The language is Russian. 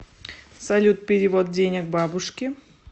салют перевод денег бабушке